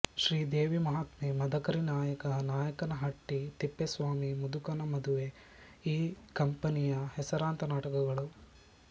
ಶ್ರೀದೇವಿ ಮಹಾತ್ಮೆ ಮದಕರಿ ನಾಯಕ ನಾಯಕನಹಟ್ಟಿ ತಿಪ್ಪೇಸ್ವಾಮಿ ಮುದುಕನ ಮದುವೆ ಈ ಕಂಪನಿಯ ಹೆಸರಾಂತ ನಾಟಕಗಳು